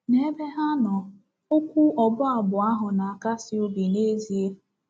N'ebe ha nọ, okwu ọ̀bụ́ ábụ̀ ahụ na-akasi obi n’ezie.